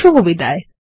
শুভবিদায়